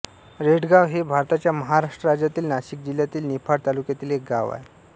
रेडगाव हे भारताच्या महाराष्ट्र राज्यातील नाशिक जिल्ह्यातील निफाड तालुक्यातील एक गाव आहे